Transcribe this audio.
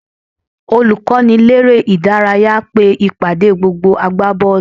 Olùkọ́niléré-ìdárayá pe ìpàdé gbogbo agbábọ́ọ̀lù